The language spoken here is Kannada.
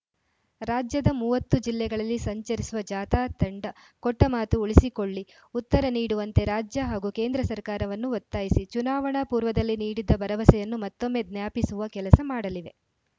ರಾಜ್ಯದ ಮೂವತ್ತು ಜಿಲ್ಲೆಗಳಲ್ಲಿ ಸಂಚರಿಸುವ ಜಾಥಾ ತಂಡ ಕೊಟ್ಟಮಾತು ಉಳಿಸಿಕೊಳ್ಳಿ ಉತ್ತರ ನೀಡುವಂತೆ ರಾಜ್ಯ ಹಾಗೂ ಕೇಂದ್ರ ಸರ್ಕಾರವನ್ನು ಒತ್ತಾಯಿಸಿ ಚುನಾವಣಾ ಪೂರ್ವದಲ್ಲಿ ನೀಡಿದ್ದ ಭರವಸೆಯನ್ನು ಮತ್ತೊಮ್ಮೆ ಜ್ಞಾಪಿಸುವ ಕೆಲಸ ಮಾಡಲಿವೆ